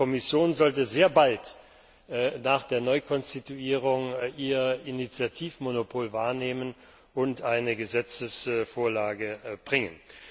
Die Kommission sollte sehr bald nach der Neukonstituierung ihr Initiativmonopol wahrnehmen und eine Gesetzesvorlage bringen.